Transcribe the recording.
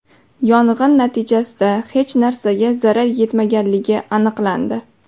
Yong‘in natijasida hech narsaga zarar yetmaganligi aniqlandi.